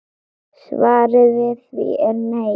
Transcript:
Svarið við því er nei.